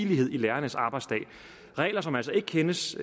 videre synes